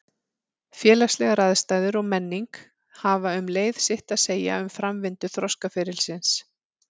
Félagslegar aðstæður og menning hafa um leið sitt að segja um framvindu þroskaferilsins.